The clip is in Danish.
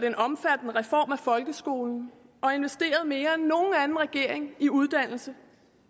en omfattende reform af folkeskolen og investeret mere end nogen anden regering i uddannelse